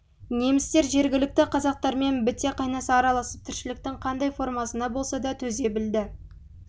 немістер жергілікті қазақтармен біте қайнаса араласып тіршіліктің қандай формасына болса да төзе білді